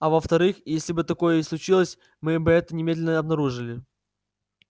а во вторых если бы такое и случилось мы бы это немедленно обнаружили